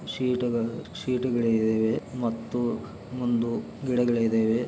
ಶಿಟಗಳ-ಶಿಟಗಳ ಇದಾವೆ ಮತ್ತು ಮುಂದು ಗಿಡಗಳಿ ಇದಾವೆ.